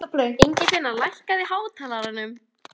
Ingifinna, lækkaðu í hátalaranum.